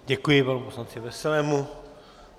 Děkuji panu poslanci Veselému.